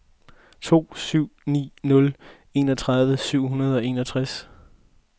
to syv ni nul enogtredive syv hundrede og enogtres